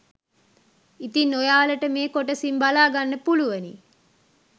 ඉතින් ඔයාලට මේ කොටසින් බලා ගන්න පුළුවනි